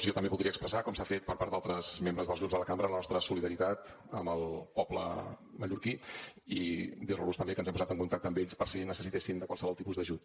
jo també voldria expressar com s’ha fet per part d’altres membres dels grups de la cambra la nostra solidaritat amb el poble mallorquí i dir los també que ens hem posat en contacte amb ells per si necessitessin qualsevol tipus d’ajut